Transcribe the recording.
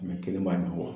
Mɛ kelen b'a ɲɛfɔ